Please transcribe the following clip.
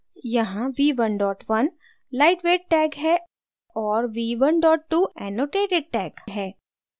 यहाँ v11 lightweight tag है और v12 annotated tag है